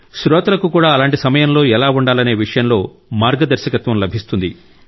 శ్రోతలకు కూడా అలాంటి సమయంలో ఎలా ఉండాలనే విషయంలో మార్గదర్శకత్వం లభిస్తుంది